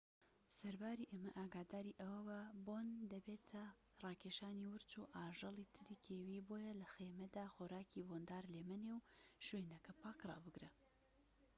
سەرباری ئەمە ئاگاداری ئەوەبە بۆن دەبێتە ڕاکێشانی ورچ و ئاژەڵی تری کێوی بۆیە لە خێمەدا خۆراکی بۆندار لێمەنێ و شوێنەکە پاك رابگرە